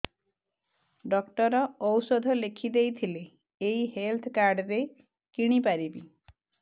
doctor ଔଷଧ ଲେଖିଦେଇଥିଲେ ଏଇ ହେଲ୍ଥ କାର୍ଡ ରେ କିଣିପାରିବି